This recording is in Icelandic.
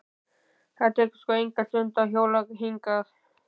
Það tekur sko enga stund að hjóla hingað.